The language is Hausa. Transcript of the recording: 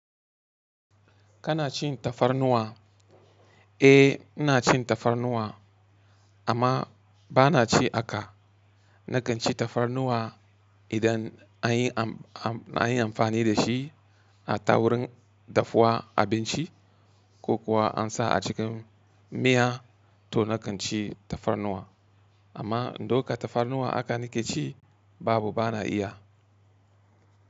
Kana cin tafarnuwa? Eh, ina cin tafarnuwa amma bana ci haka. Nakan ci tafarnuwa idan an yi amfani da shi a ta wurin dafuwa abinci ko kuwa an sa a cikin miya to nakan ci tafarnuwa. Amma doka tafarnuwa haka nake ci babu bana iya.